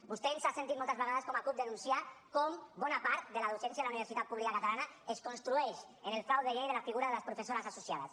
vostè ens ha sentit moltes vegades com a cup denunciar com bona part de la docència a la universitat pública catalana es construeix en el frau de llei de la figura de les professores associades